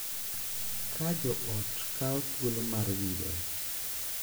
Ka jo ot kawo thuolo mar winjore .